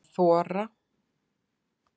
Að þora